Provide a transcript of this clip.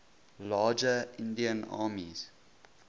larger indian armies